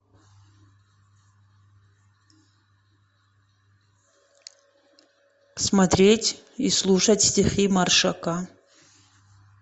смотреть и слушать стихи маршака